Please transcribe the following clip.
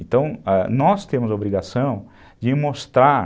Então, nós temos a obrigação de mostrar